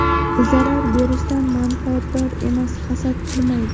Zarar berishdan manfaatdor emas, hasad qilmaydi.